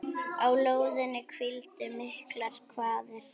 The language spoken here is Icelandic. Á lóðinni hvíldu miklar kvaðir.